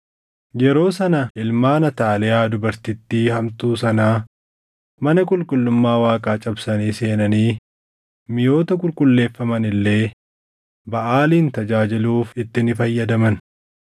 Yeroo sana ilmaan Ataaliyaa dubartittii hamtuu sanaa mana qulqullummaa Waaqaa cabsanii seenanii miʼoota qulqulleeffaman illee Baʼaalin tajaajiluuf itti ni fayyadaman.